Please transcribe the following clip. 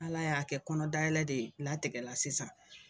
Ala y'a kɛ kɔnɔdayɛlɛ de latigɛla sisan